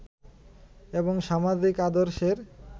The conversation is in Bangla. এবং সামাজিক আদর্শের